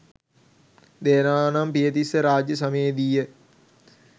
දේවානම්පියතිස්ස රාජ්‍ය සමයේ දීය